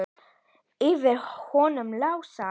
Yfir honum Lása?